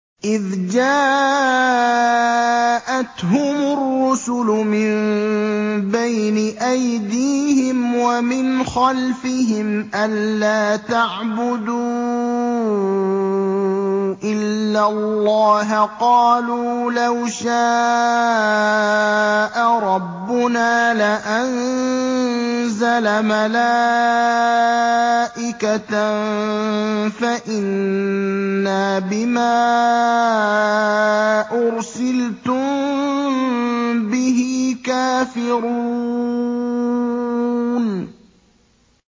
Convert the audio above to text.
إِذْ جَاءَتْهُمُ الرُّسُلُ مِن بَيْنِ أَيْدِيهِمْ وَمِنْ خَلْفِهِمْ أَلَّا تَعْبُدُوا إِلَّا اللَّهَ ۖ قَالُوا لَوْ شَاءَ رَبُّنَا لَأَنزَلَ مَلَائِكَةً فَإِنَّا بِمَا أُرْسِلْتُم بِهِ كَافِرُونَ